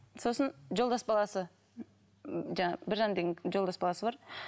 сосын жолдас баласы жаңағы біржан деген жолдас баласы бар